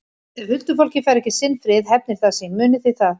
Og ef huldufólkið fær ekki sinn frið hefnir það sín, munið þið það.